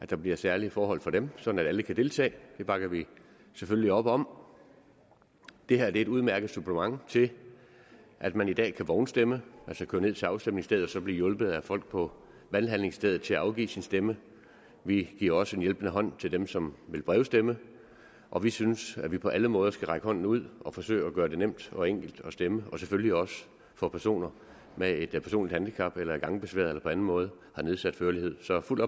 der bliver særlige forhold for dem sådan at alle kan deltage og det bakker vi selvfølgelig op om det her er et udmærket supplement til at man i dag kan vognstemme altså køre ned til afstemningsstedet og så blive hjulpet af folk på valghandlingsstedet til at afgive sin stemme vi giver også en hjælpende hånd til dem som vil brevstemme og vi synes at vi på alle måder skal række hånden ud og forsøge at gøre det nemt og enkelt at stemme og selvfølgelig også for personer med et handicap eller som er gangbesværede eller på anden måde har nedsat førlighed så fuld